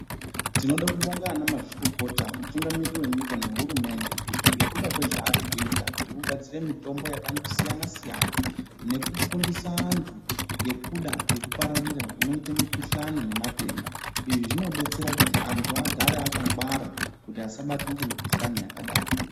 Tinoda kubhonga ana mazvikokota mutungamiriri wenyika nehurumende ngekuda kwezvaari kuita zvekugadzire mitombo yakangosiyana siyana ,nekufundise antu nekuda kwekupararira kunoite mukuhlani nematenda izvi zvinobetsere kuti andu agare akangwara kuti asabatwe nemukuhlani yakadaro .